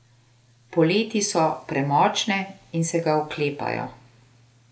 Poleti so premočne in se ga oklepajo.